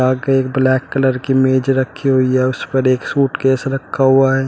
आगे एक black colour की मेज रखी हुई है उस पर एक सूटकेस रखा हुआ है।